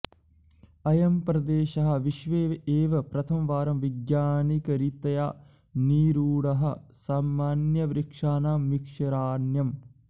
अयं प्रदेशः विश्वे एव प्रथमवारं वैज्ञानिकरीत्या निरूढः सामन्यवृक्षाणां मिश्रारण्यम्